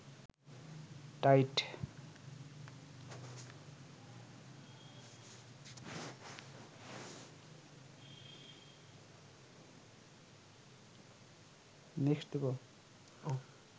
tight